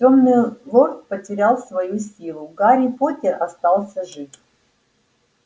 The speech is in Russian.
тёмный лорд потерял свою силу гарри поттер остался жив